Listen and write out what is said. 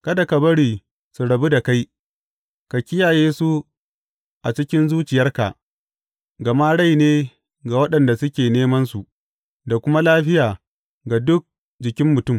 Kada ka bari su rabu da kai, ka kiyaye su a cikin zuciyarka; gama rai ne ga waɗanda suke nemansu da kuma lafiya ga dukan jikin mutum.